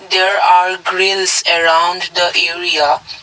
there are grills around the area.